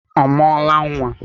Ọ mụọla nwa?